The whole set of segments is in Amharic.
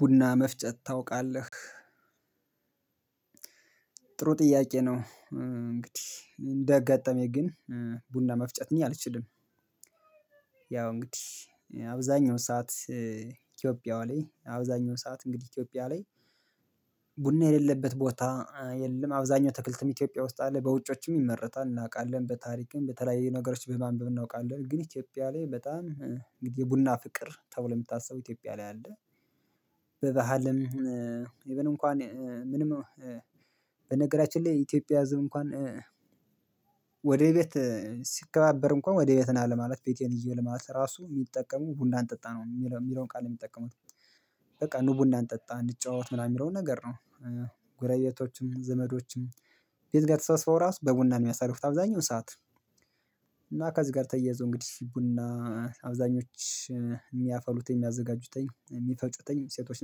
ቡና መፍጨት ታውቃለህ ጥሩ ጥያቄ ነው። እንግዲህ እንዳጋጠመኝ ግን ቡና መፍጨት እኔ አልችልም። ያው እንግዲህ አብዛኛው ሰዓት ኢትዮጵያ ላይ አብዛኛው ሰዓት እንግዲህ ኢትዮጵያ ላይ። ቡና የለለበት ቦታ የለም። አብዛኛው አትክልትም ኢትዮጵያ ውስጥ አለ በውጮችም ይመረታል እናቃለን በታሪክም በተለያየ ነገሮች በማንበብ እናውቃለን። ግን ኢትዮጵያ ላይ በጣም እንግዲህ የቡና ፍቅር ተብሎ ሚታስበው ኢትዮጵያ ላይ አለ። በባህልም ኢቭን እንኳን ምንም በነገራችን ላይ ኢትዮጵያ ህዝብ እንኳን ወደ ቤት ሲከባበር እንኳን ወደ ቤት ና ለማለት ቤቴን እየው ማለት ነው። ራሱ ሚጠቀሙ ቡና አጠጣ ነው ሚለውን ቃል ሚጠቀሙት። በቃ ኑ ቡና እንጠጣ እንጨዋወት ምናምን ሚለውን ነገር ነው። ዘመዶችም ቤት ጋ ተሰብስበው ራሱ በቡና ሚያሳርፉት አብዛኛውን ሰዓት። እና ከዝህ ጋር ተያይዞ እንግዲህ ቡና አብዛኞቹ ሚያፈሉትኝ ሚያዘጋጁትኝ ሚፈጩተኝ ሴቶች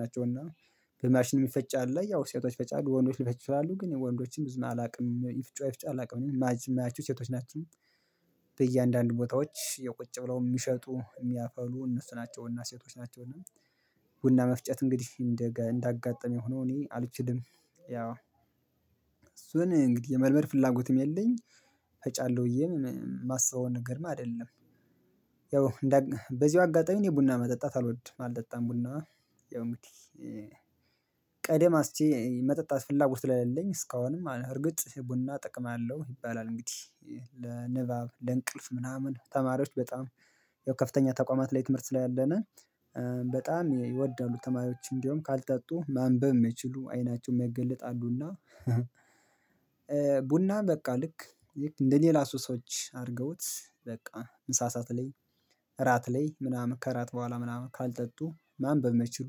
ናቸው። እና በማሽን ሚፈጭ አለ ያው ሴቶች ይፈጫሉ ወንዶች ሊፈጩ ይችላሉ ግን ያው ወንዶችም ብዙም አላቅም ይፍጩ አይፍጩ አላቅም ሚያቸው ሴቶች ናቸው። በእያንዳንዱ ቦታዎች የው ቁጭ ብለው ሚሸጡ እሚያፈሉ እነሱ ናቸው እና ሴቶች ናቸውና ቡና መፍጨት እንግዲህ እንዳጋጠኝ ሆኖ እኔ አልችልም። ያው እሱን እንግዲህ የመልመድ ፍላጎትም የለኝ እፈጫለሁ ብዬ ማስበውን ነገር ማድረግ አደለም። ያው በዚሁ አጋጣሚ እኔ ቡና መጠጣት አልወድም አልጠጣም ቡና ያው እንግዲህ ቀደም አስቼ መጠጣት ፍላጎት ስለለኘ እስካሁንም እርግጥ ቡና ጥቅም አለው። ይባላል እንግዲህ ለንባብ ለእንቅልፍ ምናምን ተማሪዎች በጣም ያው ከፍተኛ ተቋማት ላይ ትምህርት ላይ ሰላለነ በጣም ይወደላሉ ተማሪዎች እንዲሁም ካልጠጡ ማንበብ ሚችሉ አይናቸውም ማይገለጥ አሉና። ቡና በቃ ልክ እንደ ሌላ ሱሶች አርገውት በቃ ምሳ ሳዓት ላይ እራት ላይ ምናምን ከራት በኋላ ምናምን ካልጠጡ ማንበብ ማይችሉ።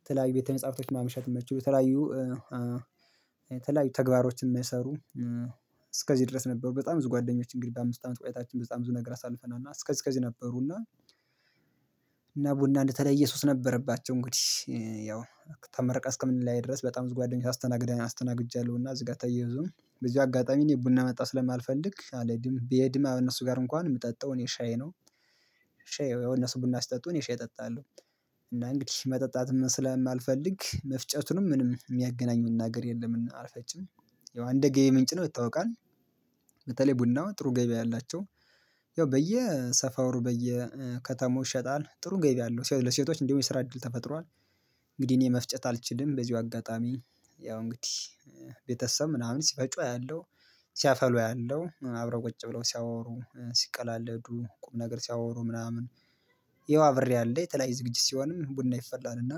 የተለያዩ ቤተ መጻፍቶች ማምሸት ማይችሉ የተለያዩ የተለያዩ ተግባሮችን ሚሰሩ እስከዚህ ድረስ ነበሩ። በጣም ብዙ ጓደኞች እንግዲህ በአምስት አመት ቆያታችን በጣም ብዙ ነገር አሳልፈናል እና እስከዚህ እስከዚህ ነበሩና። እና ቡና እንደተለየ ሱስ ነበረባቸው እንግዲህ ያው ተመረቀን እስከምንለያይ ድረስ በጣም ብዙ ጓደኞች አስተናግደን አስተናግጃለሁና። እዚህ ጋር ተያይዞም በዝሂው አጋጣሚ ቡና መጠጣት ስለ ማለማልፈልግ አለህድም ብሄድም ከእነሱ ጋር እንኳን ምጠጣው እኔ ሻይ ነው። ሻይ ያው እነሱ ቡና ሲጠጡ እኔ ሻይ እጠጣለሁ። እና እንግዲህ መጠጣትም ስለማልፈልግ መፍጨቱንም ምንም ሚያገናኘን ነገር የለም እና አልፈጭም። ያው አንደጌ ምንጭ ነው ይታወቃል። በተለይ ቡናው ጥሩ ገቢያ ያላቸው ያው በየሰፈሩ በየከተማው ይሸጣል ጥሩ ገቢ አለው ለሴቶች እንዲውም የስራ እድል ተፈጥሯል። እንግዲህ እኔ መፍጨት አልችልም በዚሁ አጋጣሚ ያው እንግዲህ ቤተሰብ ምናምን ሲፈጩ አያለሁ። ሲያፈሉ አያለሁ አብረው ቁጭ ብለው ሲያወሩ ሲቀላለዱ ቁም ነገር ሲያወሩ ምናምን ያዋ አብሬ አለ የተለያየ ዝግጅት ሲሆንም ቡና ይፈላልና።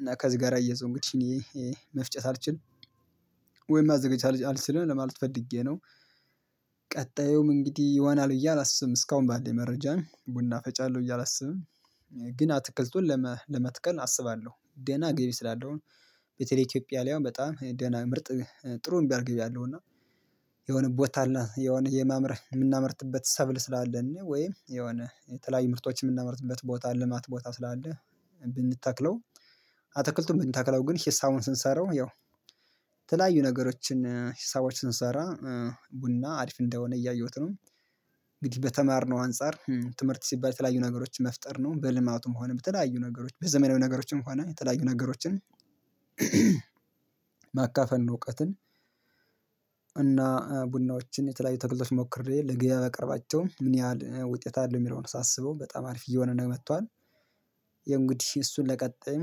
እና ከዚህ ጋር አያይዞ እንግዲህ እኔ መፍጨት አልችል ወይም ማዘጋጀት አልችልም ለማለት ፈልጌ ነው። ቀጣዩም እንግዲህ ይዋናል ብዬ አላስብም እስካሁን ባለኝ መረጃም ቡና እፈጫለሁ ብዬ አላስብም። ግን አትክልቱን ለመትከል አስባለሁ ደና ገቢ ስላለው ቤተለይ ኢትዮጵያ አሁን በጣም ደና ምርጥ ጥሩ ሚባል ገቢ አለው። እና የሆነ ቦታ አለ የሆነ የማምረህ የምናመርትበት ሰብል ስላለን ወይም የሆነ የተለያዩ ምርቶችን ምናመርትበት ቦታ ልማት ቦታ ስላለህ። ብንተክለው አትክልቱም ብንተክለው ግን ሂሳቡን ስንሰራው ያው የተለያዩ ነገሮችን ሂሳቦች ስንሰራ ቡና አሪፍ እንደሆነ እያየሁት ነው። እንግዲህ በተማርነው አንፃር ትምህርት ሲባል የተለያዩ ነገሮችን መፍጠር ነው በልማቱም ሆነ በተለያዩ ነገሮች በዘመናዊ ነገሮችም ሆነ የተለያዩ ነገሮችን ማካፈን ነው። እውቀትን። እና ቡናዎችን የተለያዩ ተክልቶችን ሞክሬ ለገብያ ባቀርባቸው ምን ያህል ውጤት አለው ሚለውን ሳስበው በጣም አሪፍ እየሆነ ነው መቷል። ያው እንግዲህ እሱን ለቀጣይም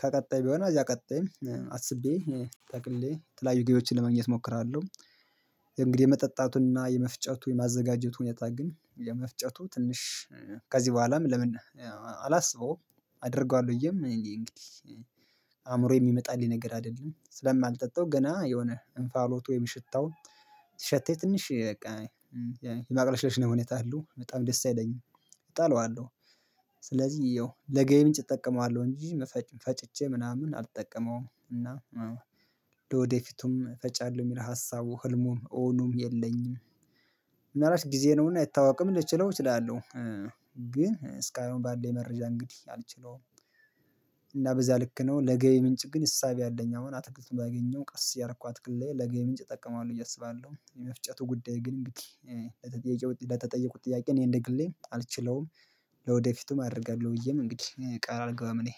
ከቀጣይ ቢሆን አዚያ ቀጣይ አስቤ ጠቅሌ የተለያዩ ግቢዎችን ለመግኘት እሞክራለሁ። እንግዲህ የመጠጣቱንና የመፍጨቱን የማዘጋጀቱን ሁኔታ ግን የመፍጨቱ ትንሽ ከዚህ በኋላም ለምን አላስበውም? አደርገዋለሁ ብየም እንግዲህ አእምሮዬ ሚመጣልኝ ነገር አደለም። ስለማልጠጣው ገና የሆነ እንፋሎቱ ወይም ሽታው ሲሸተኝ ትንሽ የማቅለሽለሽ ሁኔታ አለው በጣም ደስ አይለኝም። እጠላዋለሁ። ስለዚህ ያው ለገቢ ምንጭ እጠቀማለሁ እንጂ ፈጭቼ ምናምን አልጠቀመውም እና ወደፊቱም እፈጫለሁ ሚል ሀሳቡ ህልሙ እውኑም የለኝም። ምን አልባች ጊዜ ነውና አይታወቅም ልችለው እችላለሁ። ግን እስካሁን ባለኝ መረጃ እንግዲህ አልችለውም። በዚያ ልክ ነው ለገቢ ምንጭ ግን እሳቤ አለኝ አሁን አትክልቱን ባገኘው ቀስ እያረኩ አትክልት ላይ ለገቢ ምንጭ እጠቀማዋለሁ ብየ አሰባለሁ የመፍጨቱ ጉዳይ ግን እንግዲህ ለተጠየቁት ጥያቄ እኔ እንደ ግሌ አልችለውም። ለውደፊትም አደርጋለሁ ብዬም እንግዲህ ቃል አልገባም እኔ